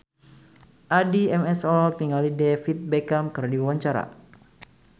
Addie MS olohok ningali David Beckham keur diwawancara